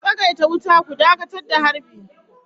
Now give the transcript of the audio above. Cease fire! Hold your fire.